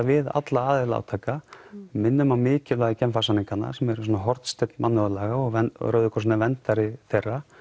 við alla aðila átaka minnum á mikilvægi Genfarsamninganna sem eru svona hornsteinn mannúðarlaga og Rauði krossinn er verndari þeirra